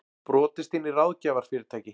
Brotist inn í ráðgjafarfyrirtæki